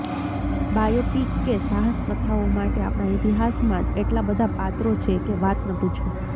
biopic કે સાહસકથાઓ માટે આપણા ઈતિહાસમાં જ એટલા બધા પાત્રો છે કે વાત ન પૂછો